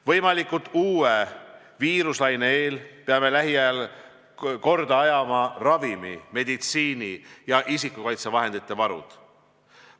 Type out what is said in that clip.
Võimaliku uue viiruselaine eel peame lähiajal korda ajama ravimi-, meditsiini- ja isikukaitsevahendite varude küsimused.